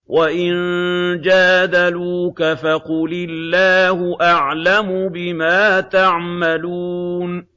وَإِن جَادَلُوكَ فَقُلِ اللَّهُ أَعْلَمُ بِمَا تَعْمَلُونَ